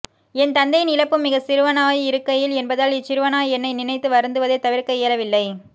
என் தந்தையின் இழப்பும் மிகச் சிறுவனாய் இருக்கையில் என்பதால் இச்சிறுவனாய் என்னை நினைத்து வருந்துவதைத் தவிர்க்க இயலவில்லை